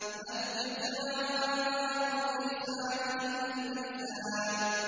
هَلْ جَزَاءُ الْإِحْسَانِ إِلَّا الْإِحْسَانُ